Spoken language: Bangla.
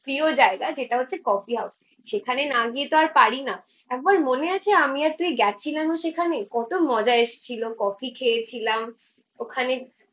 প্রিয় জায়গা যেটা হচ্ছে কফি হাউস। সেখানে না গিয়ে তো আর পারিনা। একবার মনে আছে আমি আর তুই গেছিলাম না সেখানে কত মজা এসেছিলো কফি খেয়েছিলাম ওখানে